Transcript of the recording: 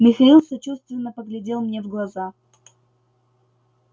михаил сочувственно поглядел мне в глаза